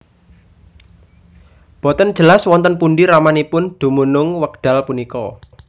Boten jelas wonten pundi ramanipun dumunung wekdal punika